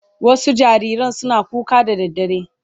Wasu jariran suna kuka da daddare